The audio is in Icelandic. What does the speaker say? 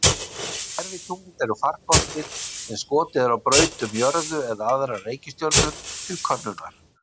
Gervitungl eru farkostir sem skotið er á braut um jörðu eða aðrar reikistjörnur til könnunar.